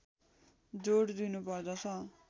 जोड दिनुपर्दछ